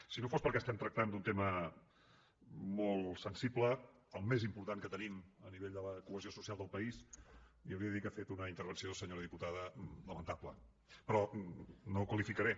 si no fos perquè estem tractant d’un tema molt sensible el més important que tenim a nivell de la cohesió social del país li hauria de dir que ha fet una intervenció senyora diputada lamentable però no la qualificaré